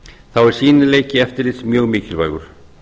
þá er sýnileiki eftirlits mjög mikilvægur